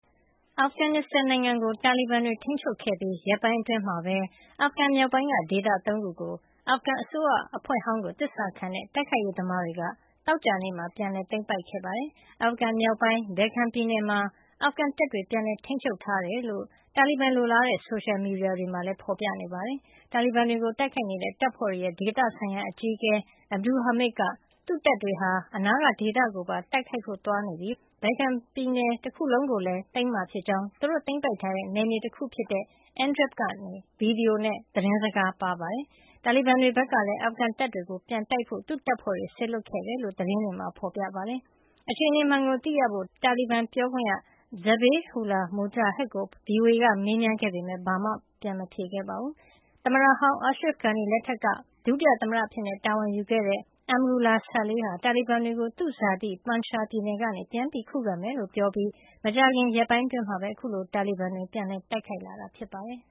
အာဖဂန်နစ်စတန်နိုင်ငံကို တာလီဘန်တွေ ထိန်းချုပ်ခဲ့ပြီး ရက်ပိုင်းအတွင်းမှာပဲ အာဖဂန်မြောက်ပိုင်းက ဒေသ ၃ ခုကို အာဖဂန်အစိုးရအဖွဲ့ဟောင်းကို သစ္စာခံတဲ့ တိုက်ခိုက်ရေးသမားတွေက သောကြာနေ့မှာ ပြန်လည်သိမ်းပိုက်ခဲ့ပါတယ်။ အာဖဂန်မြောက်ပိုင်း Baghlan ပြည်နယ်မှာ အာဖဂန်တပ်တွေ ပြန်လည်ထိန်းချုပ်ထားကြောင်း တာလီဘန်လိုလားတဲ့ ဆိုရှယ်မီဒီယာတွေမှာလည်း ဖေါ်ပြထားပါတယ်။ တာလီဘန်တွေကို တိုက်ခိုက်နေတဲ့ တပ်ဖွဲ့တွေရဲ့ ဒေသဆိုင်ရာအကြီးအကဲ Abdul Hamid က သူ့တပ်တွေဟာ အနားက ဒေသကိုပါ တိုက်ခိုက်ဖို့ သွားနေပြီဖြစ်ကြောင်းနဲ့ Baghlan ပြည်နယ် တခုလုံးကို ပြန်သိမ်းမှာ ဖြစ်ကြောင်း သူတို့ သိမ်းပိုက်ထားတဲ့ နယ်မြေတခု ဖြစ်တဲ့ Andrab ကနေ ဗီဒီယိုနဲ့ သတင်းစကား ပါးခဲ့ပါတယ်။ တာလီဘန်တွေဘက်ကလည်း အာဖဂန်တပ်တွေကို ပြန်တိုက်ဖို့ သူ့တပ်ဖွဲ့တွေ စေလွှတ်ခဲ့တယ်လို့ သတင်းတွေမှာ ဖေါ်ပြထားပါတယ်။ အခြေနေမှန်ကို သိရဖို့ တာလီဘန်ပြောခွင့်ရ Zabihullah Mujahid ကို VOA က မေးမြန်းခဲ့ပေမယ့် ဘာမှတုံ့ပြန်ပြောဆိုတာ မရှိပါဘူး။ နိုင်ငံကနေ ထွက်ပြေးသွားတဲ့ သမ္မတဟောင်း Ashraf Ghani လက်ထက်က ပထမ - ဒုသမ္မတအဖြစ်တာဝန်ယူခဲ့တဲ့ Amrullah Saleh က တာလီဘန်တွေကို သူ့ဇာတိ Panjshir ပြည်နယ်ကနေ ပြန်ခုခံမယ်လို့ ပြောကြားပြီး မကြာမှီ ရက်ပိုင်းအတွင်းမှာ အခုလို တာလီဘန်တွေကို ပြန်လည်တိုက်ခိုက်မှုတွေ လုပ်လာတာ ဖြစ်ပါတယ်